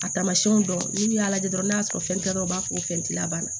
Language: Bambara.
A taamasiyɛnw dɔn n'i y'a lajɛ dɔrɔn n'a y'a sɔrɔ fɛn tɛ dɔn u b'a fɔ ko fɛndi la bana